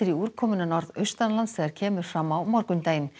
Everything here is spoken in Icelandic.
úrkomuna norðaustanlands þegar kemur fram á morgundaginn